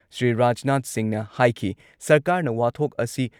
ꯁ꯭ꯔꯤ ꯔꯥꯖꯅꯥꯊ ꯁꯤꯡꯍꯅ ꯍꯥꯏꯈꯤ ꯁꯔꯀꯥꯔꯅ ꯋꯥꯊꯣꯛ ꯑꯁꯤ